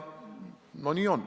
Nii see on.